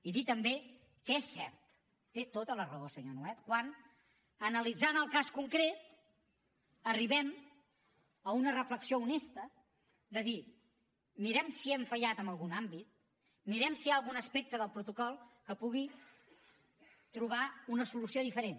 i dir també que és cert té tota la raó senyor nuet quan analitzant el cas concret arribem a una reflexió honesta de dir mirem si hem fallat en algun àmbit mirem si hi ha algun aspecte del protocol que pugui trobar una solució diferent